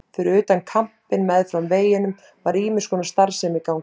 Fyrir utan kampinn meðfram veginum var ýmiss konar starfsemi í gangi.